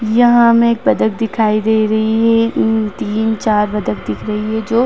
यहाँ हमे एक बतख दिखाई दे रही है इन तीन चार बतख दिख रही है जो --